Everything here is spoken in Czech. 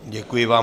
Děkuji vám.